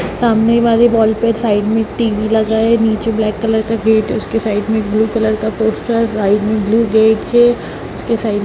सामने बाले वॉल पे साइड में टीवी लगा है नीचे ब्लैक कलर का गेट है उसके साइड में एक ब्लू कलर का पोस्टर साइड में ब्लू गेट है उसके साइड --